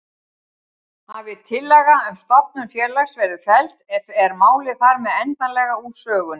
Hafi tillaga um stofnun félags verið felld er málið þar með endanlega úr sögunni.